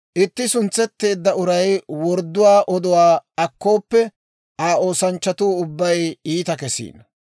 Itti suntsetteedda uray wordduwaa oduwaa akkooppe, Aa oosanchchatuu ubbay iita kesiino.